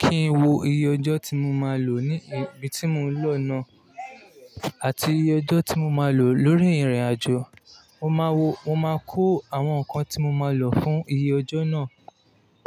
kí n wo iye ọjọ́ tí mo máa lò ní ibi tí mo lọ náà àti iye ọjọ́ tí mo máa lò lórí ìrìnàjò. Mo máa wo, máa kó àwọn nǹkan tí mo máa lò fún iye ọjọ́ náà.